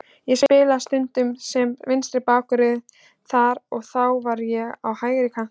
Ég spilaði stundum sem vinstri bakvörður þar og þá var hann á hægri kantinum.